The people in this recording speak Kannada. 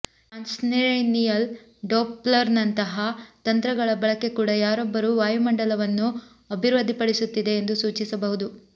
ಟ್ರಾನ್ಸ್ರೇನಿಯಲ್ ಡೊಪ್ಲರ್ನಂತಹ ತಂತ್ರಗಳ ಬಳಕೆ ಕೂಡ ಯಾರೊಬ್ಬರೂ ವಾಯುಮಂಡಲವನ್ನು ಅಭಿವೃದ್ಧಿಪಡಿಸುತ್ತಿದೆ ಎಂದು ಸೂಚಿಸಬಹುದು